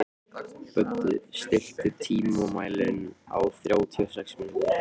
Böddi, stilltu tímamælinn á þrjátíu og sex mínútur.